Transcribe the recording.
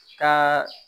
Ka